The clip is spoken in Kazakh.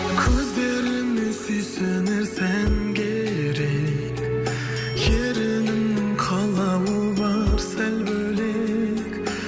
көздеріңе сүйсінер сән керек ерініңнің қалауы бар сәл бөлек